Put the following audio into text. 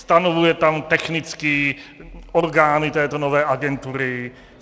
Stanovuje tam technicky orgány této nové agentury.